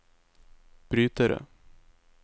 brytere